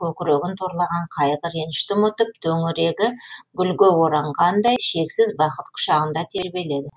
көкірегін торлаған қайғы ренішті ұмытып төңірегі гүлге оранғандай шексіз бақыт құшағында